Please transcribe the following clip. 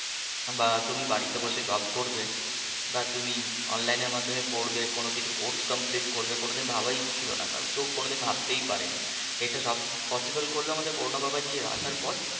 বা তুমি বাড়িতে বসে জব করবে বা তুমি online এর মাধ্যমে পড়বে কোনোকিছু course complete করবে কোনোদিন ভাবাই ছিলোনা কারোর কেউ কোনোদিন ভাবতেই পারেনি এটা সব possible করলো আমাদের করোনা বাবাজি আসার পর,